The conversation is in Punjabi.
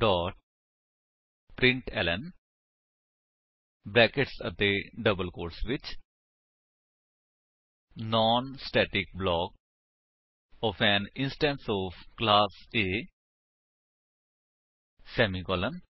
ਡੋਟ ਪ੍ਰਿੰਟਲਨ ਬਰੈਕੇਟਸ ਅਤੇ ਡਬਲ ਕੋਟਸ ਵਿੱਚ non static block of an instance of class A semicolon